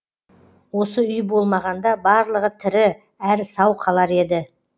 осы үй болмағанда барлығы тірі әрі сау қалар еді